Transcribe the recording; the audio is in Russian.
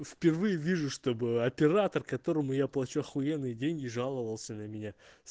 впервые вижу чтобы оператор которому я плачу ахуенные деньги жаловался на меня